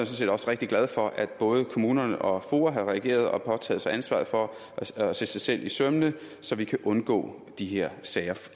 set også rigtig glad for at både kommunerne og foa har reageret og påtaget sig ansvaret for at se sig selv efter i sømmene så vi kan undgå de her sager